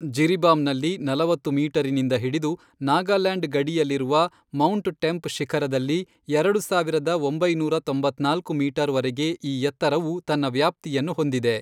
ಜಿರಿಬಾಮ್ನಲ್ಲಿ ನಲವತ್ತು ಮೀಟರಿನಿಂದ ಹಿಡಿದು, ನಾಗಾಲ್ಯಾಂಡ್ ಗಡಿಯಲ್ಲಿರುವ ಮೌಂಟ್ ಟೆಂಪ್ ಶಿಖರದಲ್ಲಿ ಎರಡು ಸಾವಿರದ ಒಂಬೈನೂರ ತೊಂಬತ್ನಾಲ್ಕು ಮೀಟರ್ ವರೆಗೆ ಈ ಎತ್ತರವು ತನ್ನ ವ್ಯಾಪ್ತಿಯನ್ನು ಹೊಂದಿದೆ.